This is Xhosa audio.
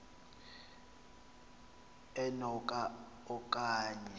eno ka okanye